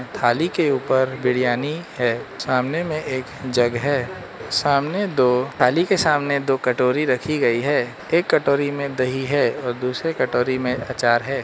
थाली के ऊपर बिरयानी है सामने में एक जगह है सामने दो थाली के सामने दो कटोरी रखी गई है एक कटोरी में दही है और दूसरे कटोरी में आचार है।